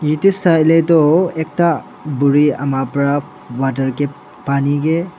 Yathe saile tuh ekta buri ama pra water kae pani kae--